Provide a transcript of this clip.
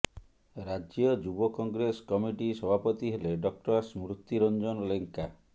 ରାଜ୍ୟ ଯୁବ କଂଗ୍ରେସ କମିଟି ସଭାପତି ହେଲେ ଡକ୍ଟର ସ୍ମୃତି ରଞ୍ଜନ ଲେଙ୍କା